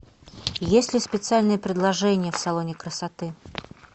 есть ли специальные предложения в салоне красоты